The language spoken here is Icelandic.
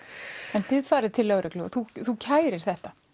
en þú ferð til lögreglunnar og kærir þetta